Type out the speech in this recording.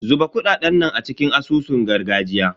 Zuba kuɗaɗen nan a cikin asusun gargajiya.